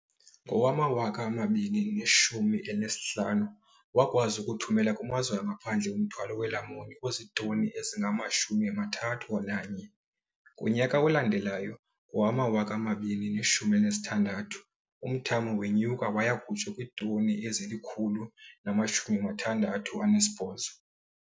Ngowama-2015, wakwazi ukuthumela kumazwe angaphandle umthwalo weelamuni ozitoni ezingama-31. Ngonyaka olandelayo, ngowama-2016, umthamo wenyuka waya kutsho kwiitoni ezili-168.